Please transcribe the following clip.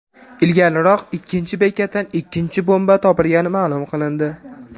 Ilgariroq ikkinchi bekatdan ikkinchi bomba topilgani ma’lum qilindi .